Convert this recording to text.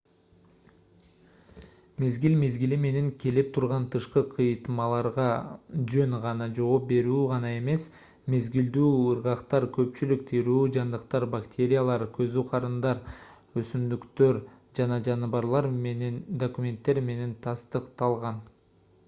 мезгил-мезгили менен келип турган тышкы кыйытмаларга жөн гана жооп берүү гана эмес мезгилдүү ыргактар көпчүлүк тирүү жандыктар бактериялар козу карындар өсүмдүктөр жана жаныбарлар үчүн документтер менен тастыкталган